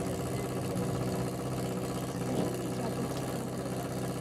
закажи мне яблоки на дом